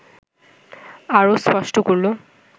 আরও স্পষ্ট করল